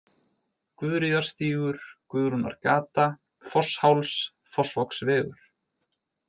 Guðríðarstígur, Guðrúnargata, Fossháls, Fossvogsvegur